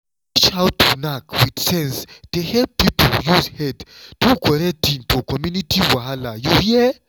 to teach how to knack with sense dey help people use head do correct thing for community wahala you hear?+